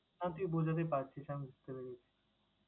না তুই বোঝাতে পারছিস, আমি বুঝতে পেরেছি।